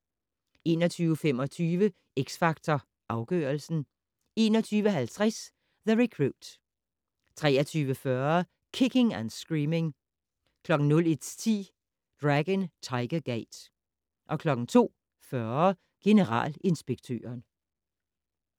21:25: X Factor Afgørelsen 21:50: The Recruit 23:40: Kicking and Screaming 01:10: Dragon Tiger Gate 02:40: Generalinspektøren